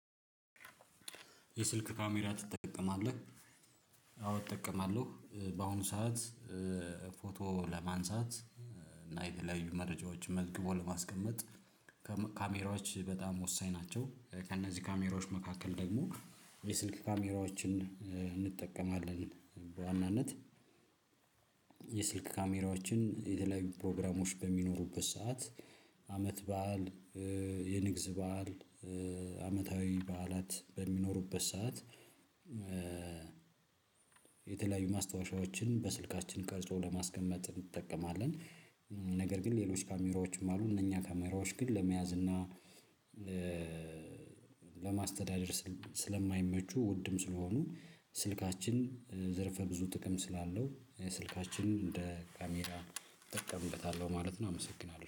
የስልክ ካሜራ ትጠቀማለህ? አዎ እጠቀማለሁ በአሁኑ ሰዓት ፎቶ ለማንሳት የተለያዩ መረጃዎችን መዝግቦ ለማስቀመጥ ካሜራዎች በጣም ወሳኝ ናቸው። ከእነዚህ ካሜራዎች መካከል ደግሞ የስልክ ካሜራዎችን እንጠቀማለን በዋናነት። የስልክ ካሜራዎችን የተለያዩ ፕሮግራሞች በሚኖሩበት ሰዓት አመት በዓል የንግስ በዓል አመታዊ በዓላት በሚኖሩበት ሰዓት። የተለያዩ ማስታወሻዎችን በስልካችን ቀርጾ ለማስቀመጥ እንጠቀማለን። ነገር ግን ሌሎች ካሜራዎችም አሉ እነኛ ካሜራዎች ግን ለመያዝ እና ለማስተዳደር ስለማይመቹ ውድም ስለሆኑ ስልካችን ዘርፈ ብዙ ጥቅም ስላለው ስልካችንን እንደ ካሜራ እጠቀምበታለሁ ማለት ነው። አመሰግናለሁ